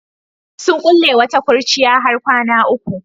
Sun kulle wata kurciya har kwana uku.